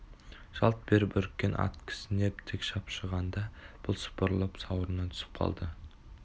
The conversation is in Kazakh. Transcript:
жалт беріп үріккен ат кісінеп тік шапшығанда бұл сыпырылып сауырынан түсіп қалды